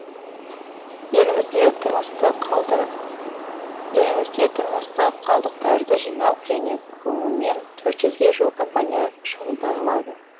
елімізде тұрмыстық қалдықтарды жинау және көмумен төрт жүзге жуық компания шұғылданылады